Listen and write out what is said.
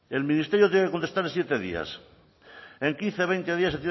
el ministerio tiene que contestar en siete días en quince veinte días